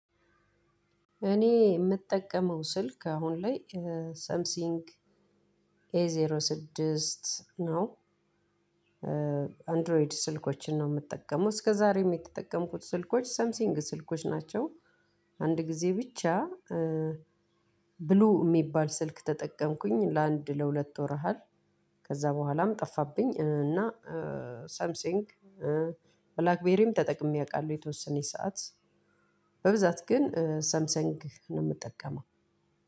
እኔ የምጠቀመው ስልክ አሁን ላይ ሰምሲንግ ኤ ዜሮ ስድስት ነው። አንድሮይድ ስልኮችን ነው የምጠቀመው እስከዛሬም የተጠቀምኩት ስልኮች ሰምሲንግ ስልኮች ናቸው። አንድ ጊዜ ብቻ ብሉ የሚባል ስልክ ተጠቀምኩኝ ለአንድ ለሁለት ወር አሃል። ከዛ በኋላም ጠፋብኝ እና ሰምሲንግ ብላክቤሪም ተጠቅሜ አውቃለሁ። የተወሰነች ሰዓት በብዛት ግን ሰምሰንግ ነው የምጠቀመው።